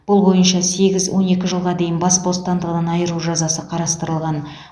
бұл бойынша сегіз он екі жылға дейін бас бостандығынан айыру жазасы қарастырылған